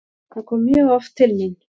Hann kom mjög oft til mín.